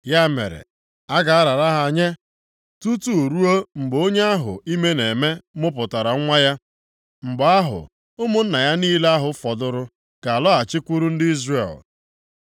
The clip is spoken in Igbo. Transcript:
Ya mere, a ga-arara ha nye tutu ruo mgbe onye ahụ ime na-eme mụpụtara nwa ya. Mgbe ahụ, ụmụnna ya niile ahụ fọdụrụ ga-alọghachikwuru ndị Izrel.